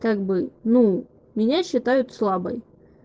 как бы ну меня считают слабой